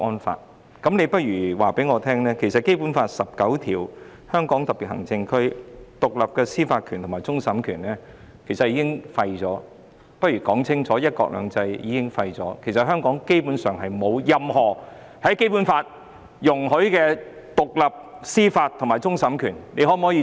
她倒不如清楚告訴我，香港特區根據《基本法》第十九條所享有的獨立司法權和終審權，以及"一國兩制"已經廢除，香港基本上已沒有《基本法》所容許的獨立司法權和終審權。